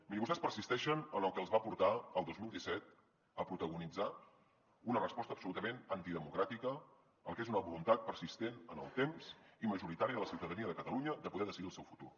mirin vostès persisteixen en el que els va portar el dos mil disset a protagonitzar una resposta absolutament antidemocràtica al que és una voluntat persistent en el temps i majoritària de la ciutadania de catalunya de poder decidir el seu futur